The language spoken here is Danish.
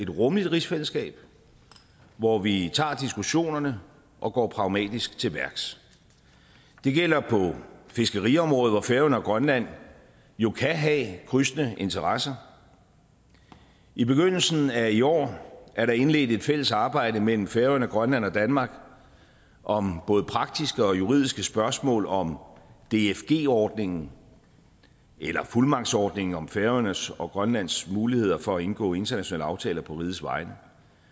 rummeligt rigsfællesskab hvor vi tager diskussionerne og går pragmatisk til værks det gælder på fiskeriområdet hvor færøerne og grønland jo kan have krydsende interesser i begyndelsen af i år er der indledt et fælles arbejde mellem færøerne grønland og danmark om både praktiske og juridiske spørgsmål om dfg ordningen eller fuldmagtsordningen om færøernes og grønlands muligheder for at indgå internationale aftaler på rigets vegne